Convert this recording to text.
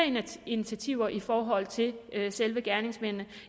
initiativer i forhold til selve gerningsmændene